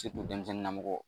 denmisɛnnin na mɔgɔ.